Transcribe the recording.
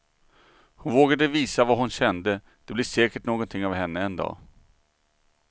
Hon vågade visa vad hon kände, det blir säkert någonting av henne en dag.